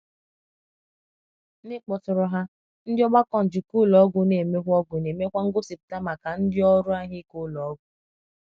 "N’ịkpọtụrụ ha, Ndị Ọgbakọ Njikọ Ụlọ Ọgwụ na-emekwa Ọgwụ na-emekwa ngosipụta maka ndị ọrụ ahụike ụlọ ọgwụ."